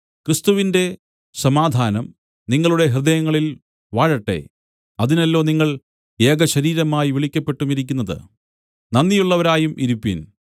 ക്രിസ്തുവിന്റെ സമാധാനം നിങ്ങളുടെ ഹൃദയങ്ങളിൽ വാഴട്ടെ അതിനല്ലോ നിങ്ങൾ ഏകശരീരമായി വിളിക്കപ്പെട്ടുമിരിക്കുന്നത് നന്ദിയുള്ളവരായും ഇരിപ്പിൻ